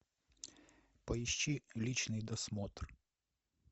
поищи личный досмотр